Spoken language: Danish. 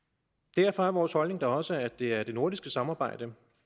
derfor er vores holdning da også at det er det nordiske samarbejde